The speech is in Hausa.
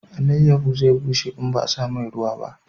Alayaho zai bushe in ba a sa mai ruwa ba